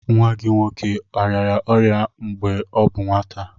Nwa gị nwoke ọrịara akwụkwụ mgbe ọ bụ nwata.